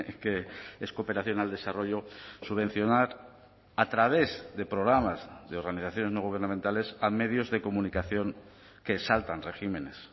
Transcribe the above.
que es cooperación al desarrollo subvencionar a través de programas de organizaciones no gubernamentales a medios de comunicación que saltan regímenes